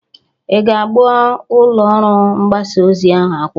Ị ga-agba ụlọ ọrụ mgbasa ozi ahụ akwụkwọ?